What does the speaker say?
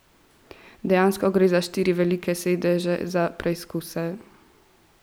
Dejansko, gre za štiri velike sedeže za preizkuse.